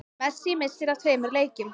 Messi missir af tveimur leikjum